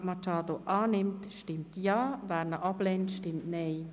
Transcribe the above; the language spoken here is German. Wer diesen annimmt, stimmt Ja, wer diesen ablehnt, stimmt Nein.